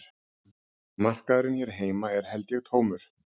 Markaðurinn hér heima er held ég tómur